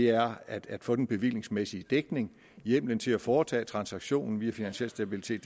er at få den bevillingsmæssige dækning hjemmelen til at foretage transaktionen via finansiel stabilitet